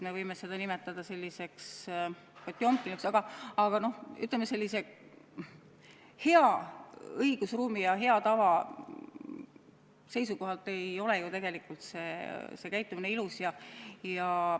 Me võime seda nimetada ka potjomkinluseks ning hea õigusruumi ja hea tava seisukohalt ei ole tegelikult selline käitumine ilus.